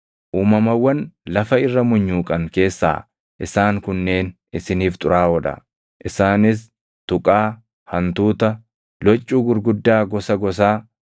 “ ‘Uumamawwan lafa irra munyuuqan keessaa isaan kunneen isiniif xuraaʼoo dha; isaanis: tuqaa, hantuuta, loccuu gurguddaa gosa gosaa,